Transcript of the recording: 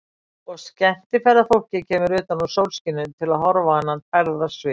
Og skemmtiferðafólkið kemur utan úr sólskininu til að horfa á þennan tærða svip.